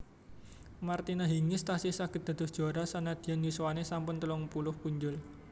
Martina Hingis tasih saget dados juara senadyan yuswane sampun telung puluh punjul